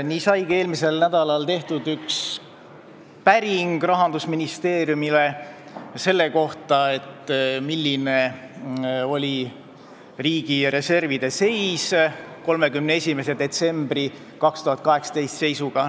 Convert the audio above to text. Nii saigi eelmisel nädalal tehtud üks päring Rahandusministeeriumile selle kohta, milline oli riigi reservide seis 2018. aasta 31. detsembri seisuga.